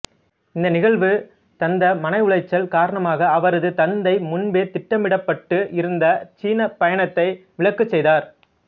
இந்த நிகழ்வு தந்த மனவுளைச்சல் காரணமாக அவரது தந்தை முன்பே திட்டமிடப்பட்டு இருந்த சீன பயணத்தை விலக்கு செய்தார்